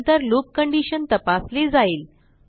नंतर loop condition तपासली जाईल